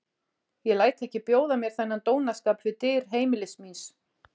Ég læt ekki bjóða mér þennan dónaskap við dyr heimilis míns.